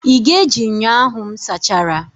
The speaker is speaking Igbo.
Ị ga-eji ṅyọ ahụ m sachara?